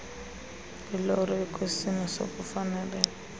kwiloro ekwisimo sokufaneleka